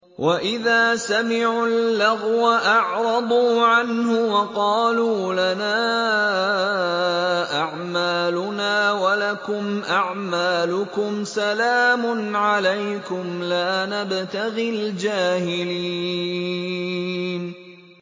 وَإِذَا سَمِعُوا اللَّغْوَ أَعْرَضُوا عَنْهُ وَقَالُوا لَنَا أَعْمَالُنَا وَلَكُمْ أَعْمَالُكُمْ سَلَامٌ عَلَيْكُمْ لَا نَبْتَغِي الْجَاهِلِينَ